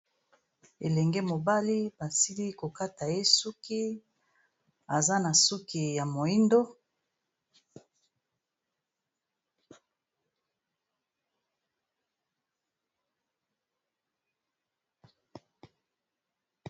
elenge mobali basili kokata ye suki aza na suki ya moindo